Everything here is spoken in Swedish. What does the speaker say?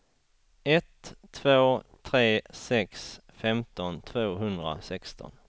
ett två tre sex femton tvåhundrasexton